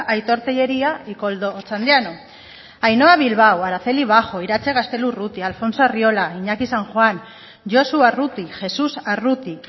aitor tellería y koldo otxandiano ainhoa bilbao araceli bajo iratxe gaztelu urrutia alfonso arriola iñaki san juan josu arruti jesús arruti